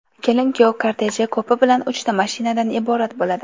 Kelin-kuyov korteji ko‘pi bilan uchta mashinadan iborat bo‘ladi .